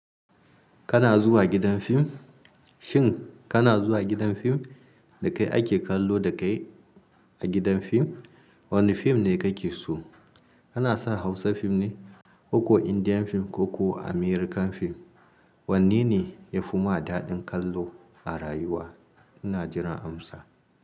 Kana zuwa gidan fim? Shin kana zuwa gidan fim da kai ake kallo da kai a gidan fim? Wane fim ne kake so? Kana son Hausa fim ne, ko ko Indian fim ko ko American fim? Wanne ne ya fi ma daɗin kallo a rayuwa? Ina jiran amsa.